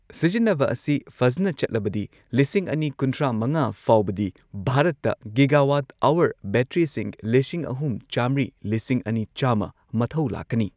ꯁꯤꯖꯤꯟꯅꯕ ꯑꯁꯤ ꯐꯖꯅ ꯆꯠꯂꯕꯗꯤ ꯂꯤꯁꯤꯡ ꯑꯅꯤ ꯀꯨꯟꯊ꯭ꯔꯥ ꯃꯉꯥ ꯐꯥꯎꯕꯗꯤ ꯚꯥꯔꯠꯇ ꯒꯤꯒꯥꯋꯥꯠ ꯑꯍꯋꯔ ꯕꯦꯇ꯭ꯔꯤꯁꯤꯡ ꯂꯤꯁꯤꯡ ꯑꯍꯨꯝ ꯆꯥꯝꯃ꯭ꯔꯤ ꯂꯤꯁꯤꯡ ꯑꯅꯤ ꯆꯥꯝꯃ ꯃꯊꯧ ꯂꯥꯛꯀꯅꯤ꯫